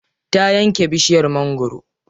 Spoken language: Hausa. Ta yanke bishiyar mangwaro.